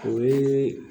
O ye